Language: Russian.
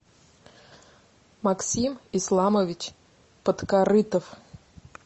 максим исламович подкорытов